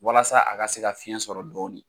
Walasa a ka se ka fiyɛn sɔrɔ dɔɔni.